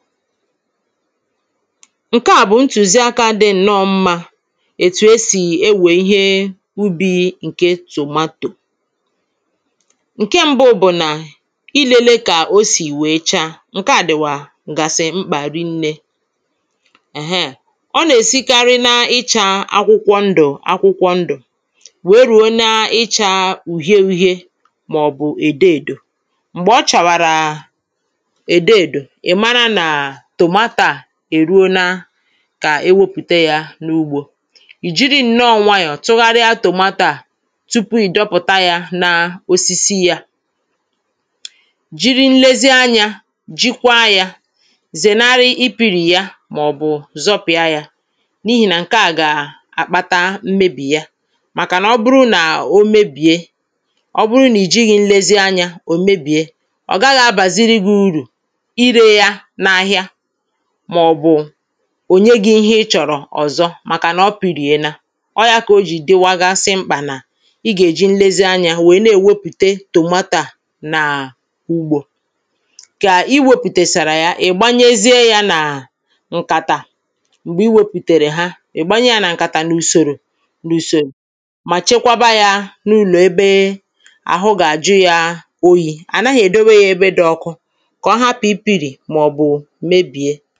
ǹke à bụ̀ ntùzi akȧ dị ǹnọọ mmȧ ètù esì ewè ihe ubi̇ ǹke tomato ǹke mbụ bụ̀ nà ilėle kà o sì wèe chaa, ǹkeà dìwà gàsị̀ mkpà rinnė ǹheà, ọ nà-èsikarị na-ịchȧ akwụkwọ ndụ̀ akwụkwọ ndụ̀ wèe rùo na-ịchȧ ùhie u̇hie màọ̀bụ̀ èdo èdò m̀gbè ọ chàwàrà kà e wepùte yȧ n’ugbȯ ì jiri nɔ́ nwayọ̀ tʊ́ghàrɪ́ tòmátȧ à tupu ì dọpụ̀ta yȧ n’osisi yȧ jiri nlezi anyȧ jikwaa yȧ zènarị ipìrì yȧ màọ̀bụ̀ zọpị̀a yȧ n’ihì nà ǹke à gà-àkpata mmebì ya màkànà ọ bụrụ nà o mebìe ọ bụrụ nà ì jighi̇ nlezi anyȧ ò mebìe ò nye gị̇ ihe ị chọ̀rọ̀ ọ̀zọ màkànà ọ pi̇rìena ọ yȧ kà o jì dịwagasị mkpà nà i gà-èji nlezi anyȧ wèe na-èwepùte tòmatà nàà ugbȯ kà i wėpùtèsàrà ya, ị̀ gbayesie yȧ nàà ǹkàtà m̀gbè i wėpùtèrè ha ị̀ gbanye yȧ nà ǹkàtà n’ùsòrò n’ùsòrò mà chekwaba yȧ n’ụlọ̀ ebe àhụ gà-àjụ ya oyi̇ ànaghị èdowe yȧ ebe dị̇ ọkụ ǹdewo n'ebe gị̇ ebe nà-èji gà-èji gị̇